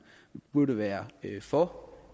burde være for